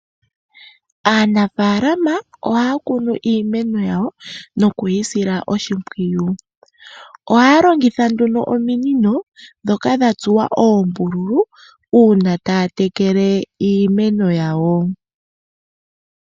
Aanafaalama ohaya kunu iimeno yawo nokuyi sila oshimpwiyu. Ohaya longitha nduno ominino ndhoka dhatsuwa oombululu uuna taya tekele iimeno yawo.